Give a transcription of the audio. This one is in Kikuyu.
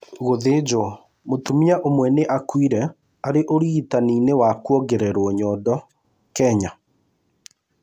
Gũthĩnjwo: Mũtumia ũmwe nĩ akuire arĩ ũrigitani-inĩ wa kũongererũo nyondo Kenya